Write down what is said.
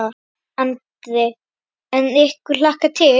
Andri: En ykkur hlakkar til?